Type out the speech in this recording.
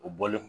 U bɔlen